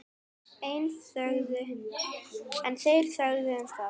En þeir þögðu um það.